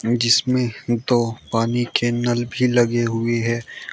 जिसमें दो पानी के नल भी लगे हुए हैं।